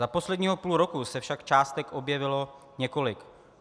Za posledního půl roku se však částek objevilo několik.